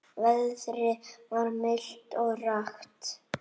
Veðrið var milt og rakt.